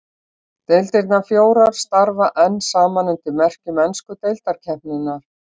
Deildirnar fjórar starfa enn saman undir merkjum ensku deildarkeppninnar.